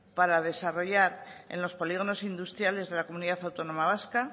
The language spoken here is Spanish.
para desarrollar en los polígonos industriales de la comunidad autónoma vasca